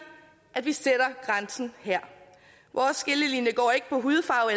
at vi sætter grænsen her vores skillelinje går ikke på hudfarve